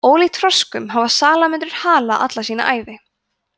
ólíkt froskum hafa salamöndrur hala alla sína ævi